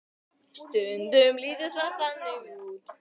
Stundum lítur það þannig út.